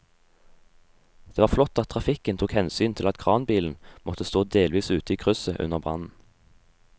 Det var flott at trafikken tok hensyn til at kranbilen måtte stå delvis ute i krysset under brannen.